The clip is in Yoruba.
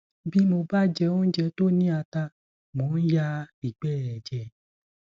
bí mo bá jẹ oúnjẹ tó ní ata mo máa ń ya ìgbẹ ẹjẹ